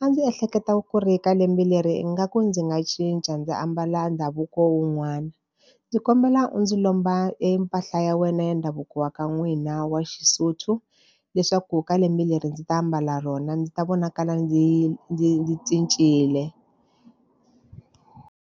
A ndzi ehleketa ku ri ka lembe leri ingaku ndzi nga cinca ndzi ambala ndhavuko wun'wana. Ndzi kombela u ndzi lomba e mpahla ya wena ya ndhavuko wa ka n'wina wa xiSotho leswaku ka lembe leri ndzi ta mbala rona, ndzi ta vonakala ndzi ndzi ndzi cincile.